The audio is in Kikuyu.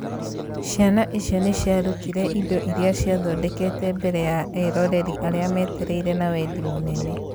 Ciana icio nĩ ciarutire indo iria ciathondekete mbere ya eroreri arĩa metereire na wendi mũnene